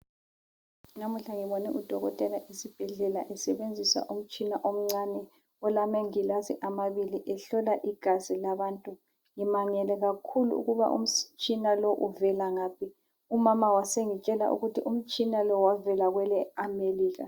Namuhla ngibone udokotela esibhedlela esebenzisa umtshina omncane olamangilazi amabili ehlola igazi labantu. Ngimangele kakhulu ukuba umtshina lo uvela ngaphi. Umama wasengitshela ukuthi umtshina lo wavela kweleAmelika.